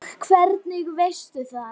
En það var ekki víst.